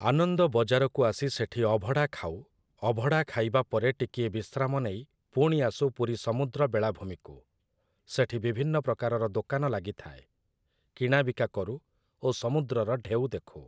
ଆନନ୍ଦ ବଜାରକୁ ଆସି ସେଠି ଅଭଡ଼ା ଖାଉ । ଅଭଡ଼ା ଖାଇବା ପରେ ଟିକିଏ ବିଶ୍ରାମ ନେଇ ପୁଣି ଆସୁ ପୁରୀ ସମୁଦ୍ର ବେଳାଭୂମିକୁ । ସେଠି ବିଭିନ୍ନ ପ୍ରକାରର ଦୋକାନ ଲାଗିଥାଏ । କିଣାବିକା କରୁ ଓ ସମୁଦ୍ରର ଢେଉ ଦେଖୁ ।